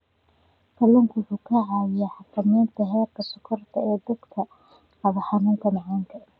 Kalluunku waxa uu caawiyaa xakamaynta heerka sonkorta ee dadka qaba xanuunka macaanka.